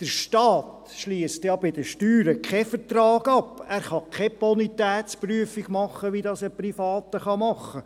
Der Staat schliesst ja bei den Steuern keinen Vertrag ab, er kann keine Bonitätsprüfung vornehmen, wie dies ein Privater tun kann.